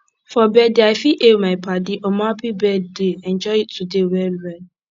for birthday i fit hail my padi omo happy birthday enjoy today well well